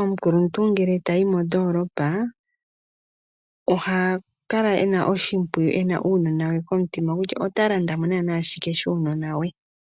Omukuluntu ngele tayi mondoolopa oha kala ena oshimpwiyu ena uunona we komutima kutya ota landa mo naana shike shuunona we.